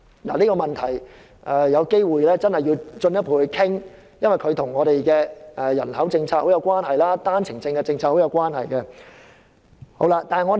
大家要進一步討論這問題，因為這跟我們的人口政策和單程證政策有莫大關係。